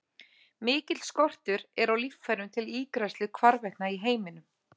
Mikill skortur er á líffærum til ígræðslu hvarvetna í heiminum.